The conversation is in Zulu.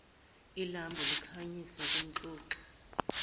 ilambu likhanyisa kumxoxi